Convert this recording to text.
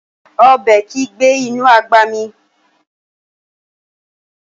Ọbẹ̀ kìí gbé inú àgbà mì